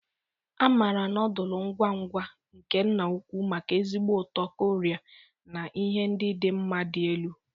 A maara nodulu ngwa ngwa nke nna ukwu maka ezigbo ụtọ Koria na ihe ndị dị mma dị elu.